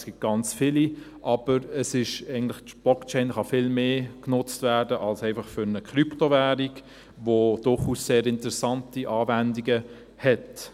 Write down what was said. Es gibt ganz viele, aber die Blockchain kann eigentlich viel mehr genutzt werden als einfach für eine Krypto-Währung, die durchaus sehr interessante Anwendungen hat.